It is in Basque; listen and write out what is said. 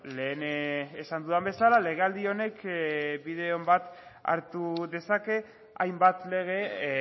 lehen esan dudan bezala legealdi honek bide on bat hartu dezake hainbat lege